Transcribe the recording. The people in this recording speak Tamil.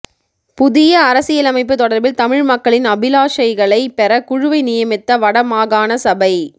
புதிய அரசியலமைப்பு தொடர்பில் தமிழ் மக்களின் அபிலாஷைகளை பெற குழுவை நியமித்த வடமாகாண சபை